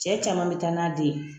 Cɛ caman bɛ taa n'a den ye